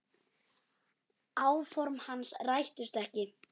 Áform hans rættust ekki.